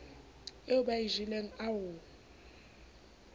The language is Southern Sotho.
eo ba e jeleng ao